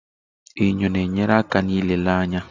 Enyo na-enyere aka n'ịlele anya.